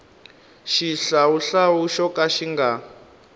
xihlawuhlawu xo ka xi nga